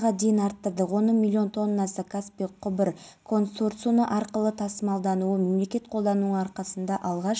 маусым электер желілерінен жоспарлы ажырату алматы ауданының аумағында да болады дейін абылай хан даңғылы бойындағы қалашық